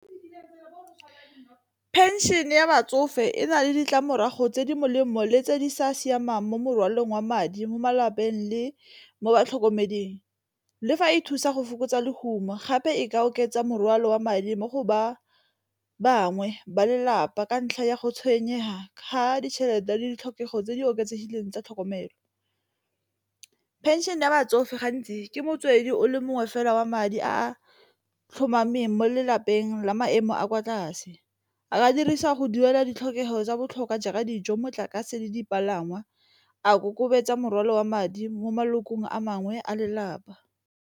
Pension-e ya batsofe e na le ditlamorago tse di molemo le tse di sa siamang mo mokwalong wa madi mo malapeng le mo batlhokomeding, le fa e thusa go fokotsa lehuma gape e ka oketsa morwalo wa madi mo go ba bangwe ba lelapa ka ntlha ya go tshwenyega ka ditšhelete le ditlhokego tse di oketsegileng tsa tlhokomelo. Pension-e ya batsofe gantsi ke motswedi o le mongwe fela wa madi a tlhomameng mo lelapeng la maemo a kwa tlase, a dirisa go duela ditlhokego tsa botlhokwa jaaka dijo motlakase le dipalangwa, a ikokobetsa morwalo wa madi mo maloko a mangwe a lelapa.